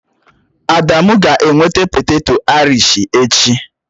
Adamu ga-eweta poteto airish echi